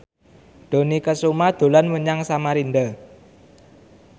Dony Kesuma dolan menyang Samarinda